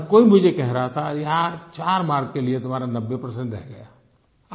हर कोई मुझे कह रहा था यार चार मार्क्स के लिए तुम्हारा 90 परसेंट रह गया